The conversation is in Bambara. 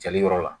Jali yɔrɔ la